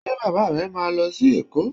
Ṣe Bàbá rẹ̀ máa lọ sí Èkó?